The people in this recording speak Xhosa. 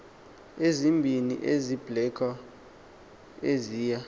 ezimbini zebiblecor eziya